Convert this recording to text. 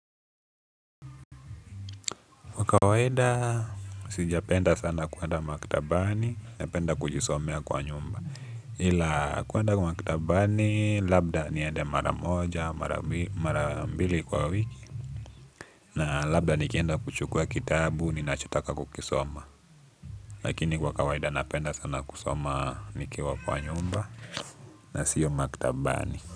Kwa kawaida, sijapenda sana kuenda maktabani napenda kujisomea kwa nyumba. Ila kuenda maktabani labda niende mara moja mara mbili kwa wiki. Na labda nikienda kuchukua kitabu ninachotaka kukisoma. Lakini kwa kawaida napenda sana kusoma nikiwa kwa nyumba. Na siyo maktabani.